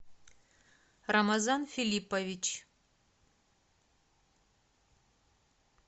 рамазан филиппович